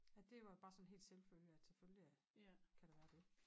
At det var bare sådan helt selvfølge at selvfølgelig at kan der være det